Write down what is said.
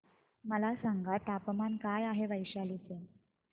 मला सांगा तापमान काय आहे वैशाली चे